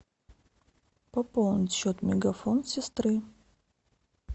пополнить счет мегафон сестры